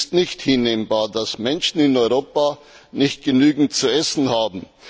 Es ist nicht hinnehmbar, dass Menschen in Europa nicht genügend zu essen haben.